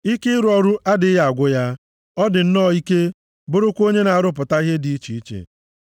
Ike ịrụ ọrụ adịghị agwụ ya. Ọ dị nnọọ ike, bụrụkwa onye na-arụpụta ihe dị iche iche.